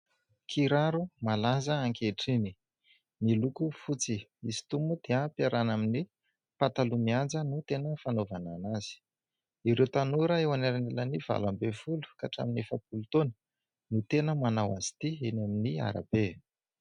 Kiraro malaza ankehitriny, miloko fotsy. Izy itony moa dia ampiarahana amin'ny pataloha mihaja no tena fanaovana an'anazy. Ireo tanora eo anelanelan'ny valo ambin'ny folo ka hatramin'ny efapolo taona no tena manao azy ity eny amin'ny arabe.